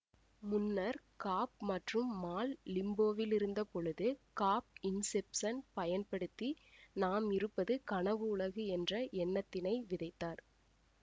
முன்னர் காப் மற்றும் மால் லிம்போவிலிருந்த பொழுது காப் இன்செப்சன் பயன்படுத்தி நாம் இருப்பது கனவு உலகு என்ற எண்ணத்தினை விதைத்தார்